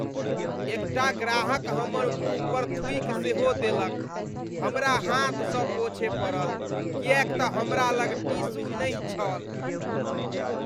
एकटा ग्राहक हमर मुँह पर थूकि सेहो देलक। हमरा हाथसँ पोछय पड़ल किएक तँ हमरा लग टिश्यू नहि छल।